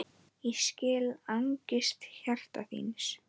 Ég skil angist hjarta þíns